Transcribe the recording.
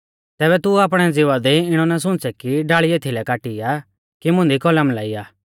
तैबै तू आपणै ज़िवा दी इणौ ना सुंच़ै कि डाल़ी एथीलै काटी आ कि मुंदी कलम लाइआ